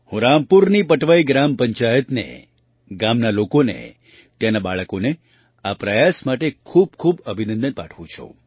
હું રામપુરની પટવાઈ ગ્રામ પંચાયતને ગામના લોકોને ત્યાંનાં બાળકોના આ પ્રયાસ માટે ખૂબ ખૂબ અભિનંદન પાઠવું છું